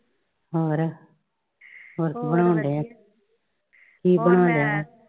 ਹੋਰ ਹੋਰ ਕੀ ਬਣਾਉਣ ਡੇਆਂ ਕੀ ਬਣਾਉਣ ਡੇਆਂ?